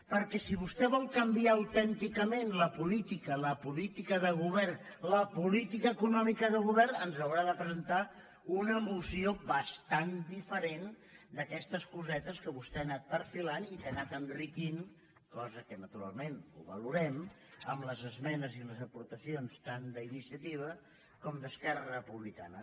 perquè si vostè vol canviar autènticament la política la políti·ca del govern la política econòmica del govern ens haurà de presentar una moció bastant diferent d’aques·tes cosetes que vostè ha anat perfilant i que ha anat en·riquint cosa que naturalment ho valorem amb les esmenes i les aportacions tant d’iniciativa com d’es·querra republicana